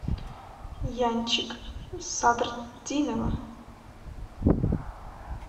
янчик садртдинова